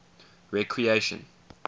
recreation